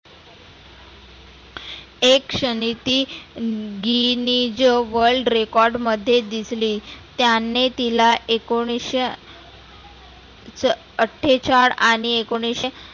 एक क्षणी ती guinness world record मध्ये दिसली. त्यांने तिला एकोणीसशे अठ्ठेचाळ आणि एकोणीसशे